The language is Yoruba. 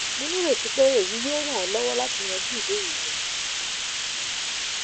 mo nireti pe eyi yoo ran ọ lọwọ lati yanju ibeere rẹ